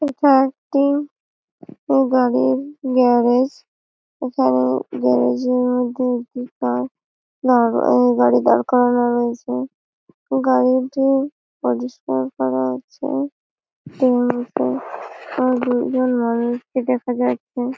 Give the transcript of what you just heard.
এটা একটি গাড়ির গ্যারেজ এখানে গ্যারেজ -এর মধ্যে একটি কার দাড় গাড়ি দাঁড় করানো রয়েছে গাড়িটি পজিশন